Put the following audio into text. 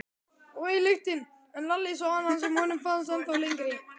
En Lalli sá annan sem honum fannst ennþá fallegri.